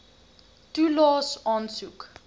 toelaes aansoek